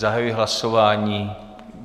Zahajuji hlasování.